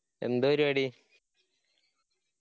എന്ത് പരിവാടി